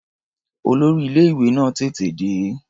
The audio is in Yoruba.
Olórí ilé-ìwé náà tètè dé.